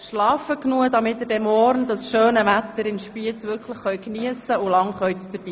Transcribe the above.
Schlafen Sie genug, damit Sie morgen das schöne Wetter in Spiez wirklich geniessen und lange dabei sein können!